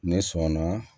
Ne sɔnna